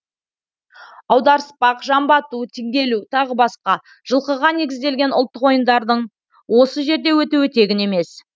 аударыспақ жамбы ату теңге ілу тағы басқа жылқыға негізделген ұлттық ойындардың осы жерде өтуі тегін емес